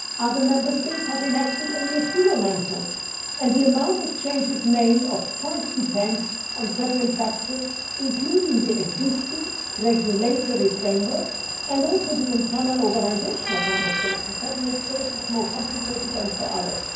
Other Member States have enacted only a few amendments, and the number of changes made of course depends on several factors including the existing regulatory framework and also the internal organisation of Member States in federal states, it is more complicated than for others.